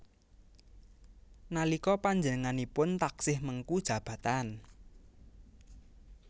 Nalika panjenenganipun taksih mengku jabatan